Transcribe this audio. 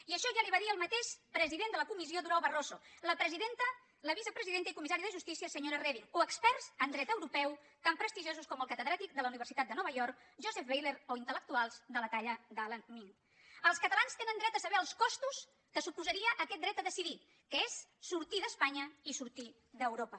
i això ja li ho va dir el mateix president de la comissió durão barroso la vicepresidenta i comissària de justícia senyora reding o experts en dret europeu tan prestigiosos com el catedràtic de la universitat de nova york joseph weiler o intelels catalans tenen dret a saber els costos que suposaria aquest dret a decidir que és sortir d’espanya i sortir d’europa